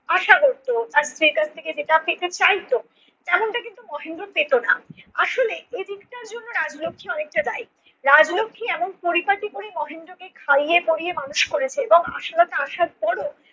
আশা করত আর স্ত্রীর কাছ থেকে যেটা পেতে চাইত তেমনটা কিন্তু মহেন্দ্র পেত না আসলে এই দিক টার জন্য রাজলক্ষী অনেকটা দায়ী। রাজলক্ষী এমন পরিপাটি করে মহেন্দ্রকে খাইয়ে পরিয়ে মানুষ করেছে এবং আশালতা আসার পরেও